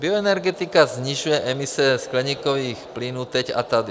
Bioenergetika snižuje emise skleníkových plynů teď a tady.